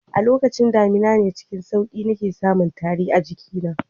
A lokacin damina ne cikin sauki nake samun tari a jikina